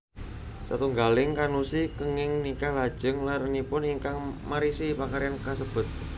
Satunggaling kannushi kenging nikah lajeng larenipun ingkang marisi pakaryan kasebut